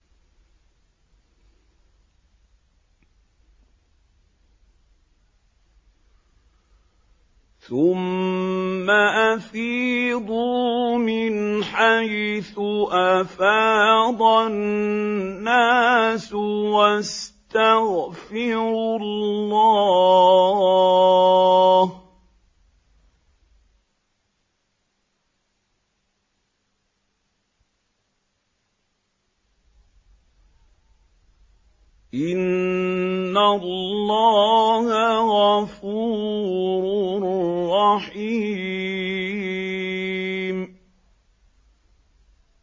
ثُمَّ أَفِيضُوا مِنْ حَيْثُ أَفَاضَ النَّاسُ وَاسْتَغْفِرُوا اللَّهَ ۚ إِنَّ اللَّهَ غَفُورٌ رَّحِيمٌ